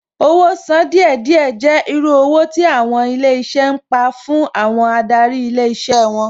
Owó sán díẹ̀ díẹ̀ jẹ́ irú owó tí àwọn ilé iṣẹ́ ń pa fún àwọn adarí ilé iṣẹ́ wọn